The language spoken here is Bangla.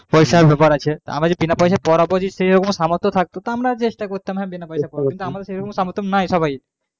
পয়সার ব্যাপার আছে আমরা যে বিনা পয়সায় পড়াবো সেই রকম সামর্থ নাই তো আমরা চেষ্টা করছি কিন্তু